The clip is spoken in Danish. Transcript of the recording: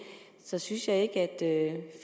så synes jeg ikke at